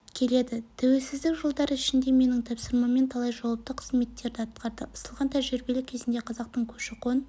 келеді тәуелсіздік жылдары ішінде менің тапсырмамен талай жауапты қызметтері атқарды ысылған тәжірибелі кезінде қазақтың көші-қон